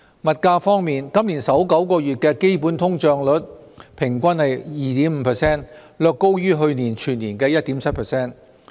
物價方面，今年首9個月的基本通脹率平均為 2.5%， 略高於去年全年的 1.7%。